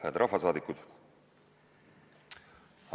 Hääd rahvasaadikud!